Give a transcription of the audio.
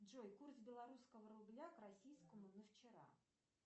джой курс белорусского рубля к российскому на вчера